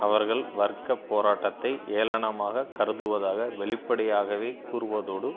அவர்கள் வர்க்க போராட்டத்தை ஏளனமாகக் கருதுவதாக வெளிப்படையாகவே கூறுவதோடு